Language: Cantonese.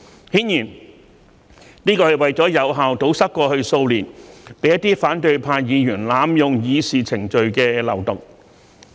顯然，這是為了有效堵塞過去數年被一些反對派議員濫用議事程序的漏洞。